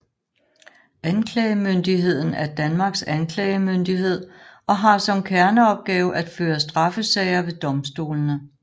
Anklagemyndigheden er Danmarks anklagemyndighed og har som kerneopgave at føre straffesager ved domstolene